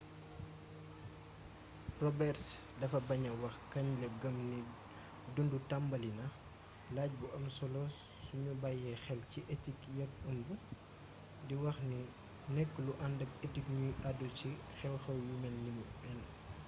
roberts dafa baña wax kañ la gëm ni dundutambali na laaj bu am solo suñu bayyee xel ci etiku yàq ëmb di wax ni du nekk lu andak etik ñuy àddu ci xewxew yu ni mel